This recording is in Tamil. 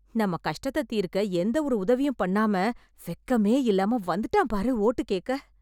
நம்ம கஷ்டத்த தீர்க்க எந்த ஒரு உதவியும் பண்ணாம, வெக்கமேயில்லாம வந்துட்டான் பாரு ஓட்டு கேக்க...